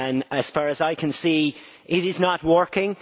As far as I can see, it is not working.